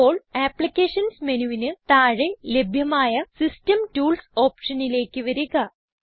ഇപ്പോൾ അപ്ലിക്കേഷൻസ് മെനുവിന് താഴെ ലഭ്യമായ സിസ്റ്റം ടൂൾസ് ഓപ്ഷനിലേക്ക് വരിക